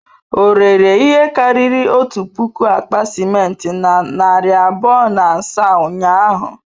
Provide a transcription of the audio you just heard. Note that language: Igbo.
O rere ihe karịrị otu puku akpa simenti na narị abụọ na asaa ụnyahụ?